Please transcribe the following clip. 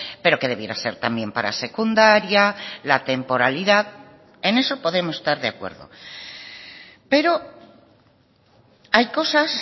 pero que debiera ser también para secundaria la temporalidad en eso podemos estar de acuerdo pero hay cosas